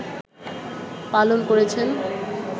পালন করেছেন